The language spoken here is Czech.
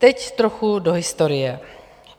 Teď trochu do historie.